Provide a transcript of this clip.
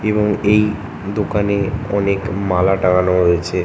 এবং এই দোকানে অনেক মালা টাঙানো রয়েছে।